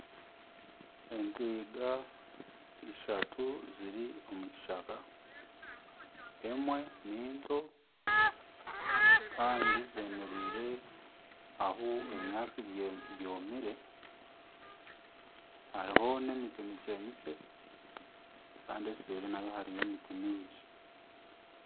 Entwiga ishatu ziri omu kishaka emwe ni nto kandi zemereire ahu ebinyaatsi byomire hariho n'emiti mikye mikye. Kandi eseeri nayo hariyo emiti mingi.